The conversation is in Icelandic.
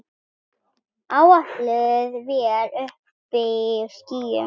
Áætluð vél uppí skýjum.